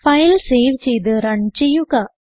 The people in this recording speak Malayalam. ഫയൽ സേവ് ചെയ്ത് റൺ ചെയ്യുക